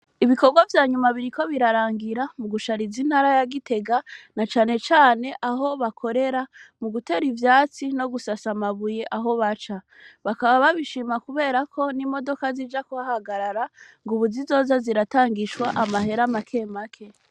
Ibikorwa vyanyuma biriko birarangira vyo gushariza i ntara ya Gitega na cane cane aho bakorera mugutera ivyatsi no gusasa amabuye aho baca. Bakaba babishima kubera ko n'imodoka zija kuhahagarara ubu zizoza ziratangishwa amahera make make.